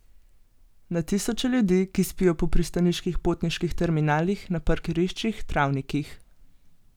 Na tisoče ljudi, ki spijo po pristaniških potniških terminalih, na parkiriščih, travnikih.